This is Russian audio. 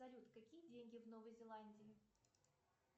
салют какие деньги в новой зеландии